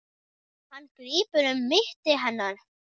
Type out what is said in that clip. Hann grípur um mitti hennar.